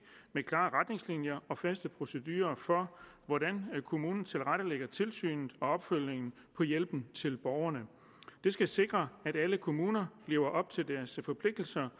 med klare retningslinjer og faste procedurer for hvordan kommunen tilrettelægger tilsynet og opfølgningen på hjælpen til borgerne det skal sikre at alle kommuner lever op til deres forpligtelser